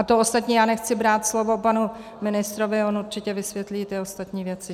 A to ostatní - já nechci brát slovo panu ministrovi, on určitě vysvětlí ty ostatní věci.